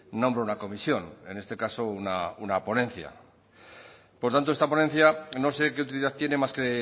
nombra una comisión en este caso una ponencia por tanto esta ponencia no sé qué utilidad tiene más que